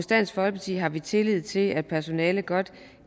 dansk folkeparti har vi tillid til at personalet godt